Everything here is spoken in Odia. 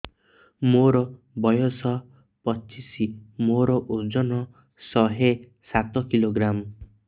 ମୋର ବୟସ ପଚିଶି ମୋର ଓଜନ ଶହେ ସାତ କିଲୋଗ୍ରାମ